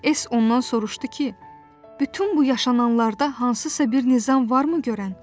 S ondan soruşdu ki, bütün bu yaşananlarda hansısa bir nizam varmı görən?